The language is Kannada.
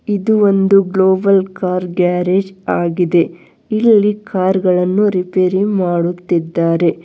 ಇದು ಒಂದು ಗ್ಲೋಬಲ್ ಕಾರ್ ಗ್ಯಾರೇಜ್ ಆಗಿದೆ ಇಲ್ಲಿ ಕಾರ್ ಗಳನ್ನು ರಿಪೇರಿ ಮಾಡುತ್ತಿದ್ದಾರೆ.